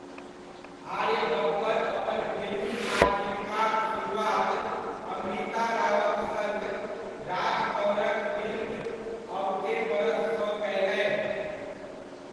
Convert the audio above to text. आर्य बब्बर अपन फिल्मी आजीविकाक सुरुआत अमृता रावक सङ्ग राज कँवरक फिल्म अबके बरससँ कयलनि।